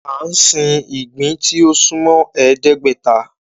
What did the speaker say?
Án sìn ìgbín tí ó sún mọ́ ẹ̀ẹ́dẹ́gbẹ́ta